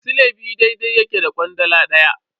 Sile biyu daidai yake da kwandala daya.